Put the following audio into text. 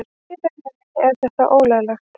Í rauninni er þetta ólöglegt.